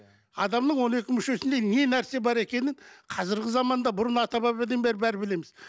адамның он екі мүшесінде не нәрсе бар екенін қазіргі заманда бұрын ата бабадан бері бәрі білеміз